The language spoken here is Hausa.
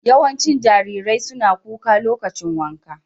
Yawancin jarirai suna kuka lokacin wanka.